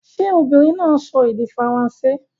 Ṣé obìnrin náà ń sọ èdè Faransé?